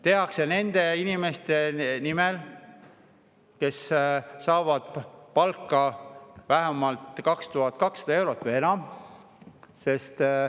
Tehakse nende inimeste nimel, kes saavad palka 2200 eurot või enam.